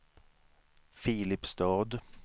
Filipstad